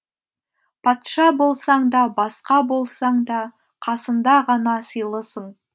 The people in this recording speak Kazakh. патша болсаң да басқа болсаң да қасында ғана сыйлысың